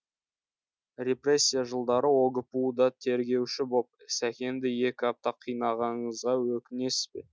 репрессия жылдары огпу да тергеуші боп сәкенді екі апта қинағаныңызға өкінесіз бе